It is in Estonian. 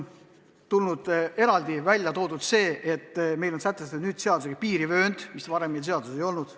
Eraldi on välja toodud, et meil sätestatakse seadusega piirivöönd, mida varem seaduses ei olnud.